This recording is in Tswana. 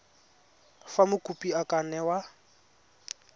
fa mokopi a ka newa